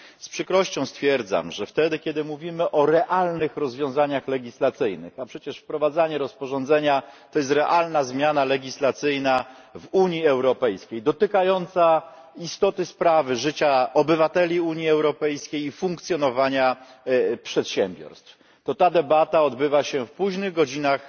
Z przykrością stwierdzam, że wtedy, kiedy mówimy o realnych rozwiązaniach legislacyjnych a przecież wprowadzanie rozporządzenia to jest realna zmiana legislacyjna w Unii Europejskiej, dotykająca istoty sprawy, życia obywateli Unii Europejskiej i funkcjonowania przedsiębiorstw to ta debata odbywa się w późnych godzinach